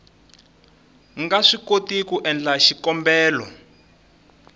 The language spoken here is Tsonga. nga swikoti ku endla xikombelo